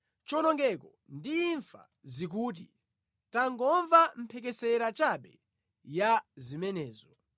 Chiwonongeko ndi imfa zikuti, ‘Tangomva mphekesera chabe ya zimenezo!’